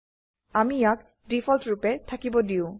আমি ইয়াক ডিফল্ট ৰুপে থাকিব দিয়ো